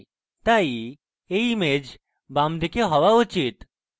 তাই এই image বামদিকে হওয়া উচিত